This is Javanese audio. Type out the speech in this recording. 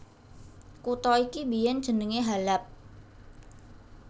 Kutha iki biyèn jenengé Halab